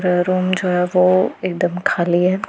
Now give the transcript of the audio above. पैरों में जो है वो एकदम खाली है।